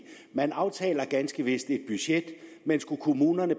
man aftaler ganske vist et budget men skulle kommunerne